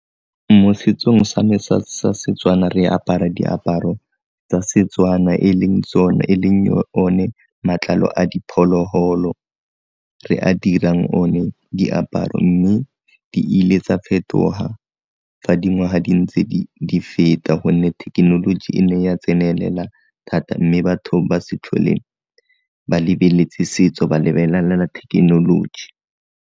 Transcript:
Mo setsong sa me sa Setswana re apara diaparo tsa Setswana e leng one matlalo a diphologolo re a dirang o ne diaparo, mme di ile tsa fetoga fa dingwaga di ntse di feta gonne thekenoloji e ne ya tsenelela thata mme batho ba se tlhole ba lebeletse setso ba lebelelela thekenoloji.